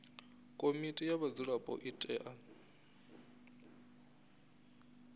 komiti ya vhadzulapo i tea